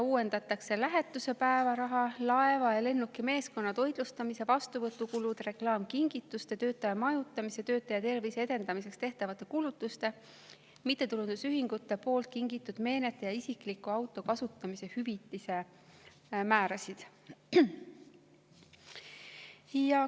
Uuendatakse lähetuse päevaraha, laeva ja lennuki meeskonna toitlustamise, vastuvõtukulude, reklaamkingituste, töötaja majutamise, töötaja tervise edendamiseks tehtavate kulutuste, mittetulundusühingute kingitud meenete ja isikliku auto kasutamise hüvitise määrasid.